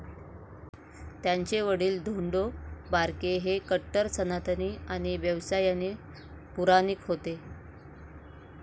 त्यांचे वडील धोंडो बारके हे कट्टर सनातनी आणि व्यवसायाने पुराणिक होते.